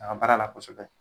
A ka baara la kosɛbɛ